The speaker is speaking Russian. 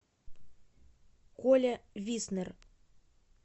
коля виснер